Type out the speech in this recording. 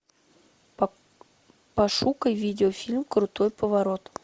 пошукай видеофильм крутой поворот